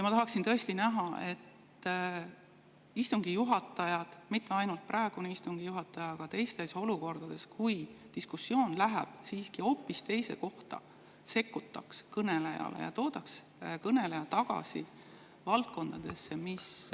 Ma tahaksin tõesti seda näha, et istungi juhatajad – mitte ainult praegune istungi juhataja, aga ka teised – sekkuksid, kui diskussioon läheb hoopis teise, ja tooksid kõneleja tagasi valdkonda, mis …